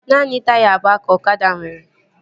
Naanị taya abụọ ka ọkada nwere